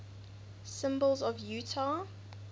symbols of utah